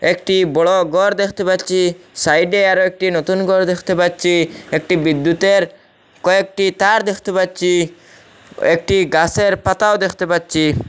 একটি বড় গর দেখতে পাচ্ছি সাইডে আরো একটি নতুন গর দেখতে পাচ্ছি একটি বিদ্যুতের কয়েকটি তার দেখতে পাচ্ছি একটি গাছের পাতাও দেখতে পাচ্ছি।